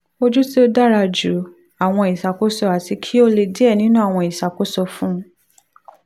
oju ti o dara ju awọn iṣakoso ati ki o le diẹ ninu awọn iṣakoso fun